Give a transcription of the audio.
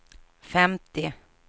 femtio